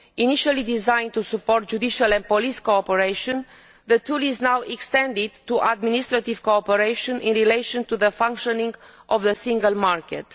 Initially designed to support judicial and police cooperation, this tool is now being extended to administrative cooperation in relation to the functioning of the single market.